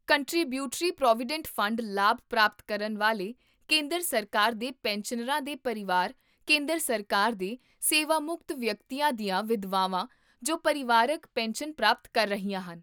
contributory provident fund ਲਾਭ ਪ੍ਰਾਪਤ ਕਰਨ ਵਾਲੇ ਕੇਂਦਰ ਸਰਕਾਰ ਦੇ ਪੈਨਸ਼ਨਰਾਂ ਦੇ ਪਰਿਵਾਰ ਕੇਂਦਰ ਸਰਕਾਰ ਦੇ ਸੇਵਾਮੁਕਤ ਵਿਅਕਤੀਆਂ ਦੀਆਂ ਵਿਧਵਾਵਾਂ ਜੋ ਪਰਿਵਾਰਕ ਪੈਨਸ਼ਨ ਪ੍ਰਾਪਤ ਕਰ ਰਹੀਆਂ ਹਨ